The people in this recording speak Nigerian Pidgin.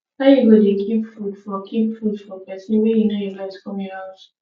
how you go dey keep food for keep food for pesin wey you no invite come your house